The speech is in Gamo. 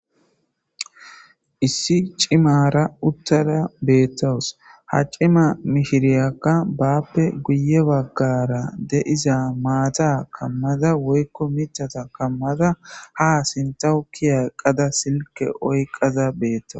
issi cimara uttada beettowus ha cima mishiriyakka baappe guye baggara deiza maata kammada woykko michata kammada ha sintawukiya qada silke oyqaza beettaw